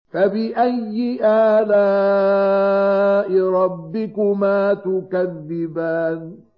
فَبِأَيِّ آلَاءِ رَبِّكُمَا تُكَذِّبَانِ